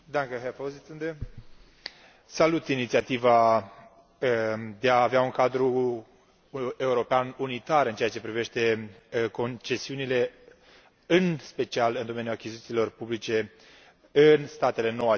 Domnule președinte, salut inițiativa de a avea un cadru european unitar în ceea ce privește concesiunile, în special în domeniul achizițiilor publice în statele nou aderate.